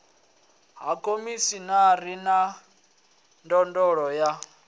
ha khomishinari wa ndondolo ya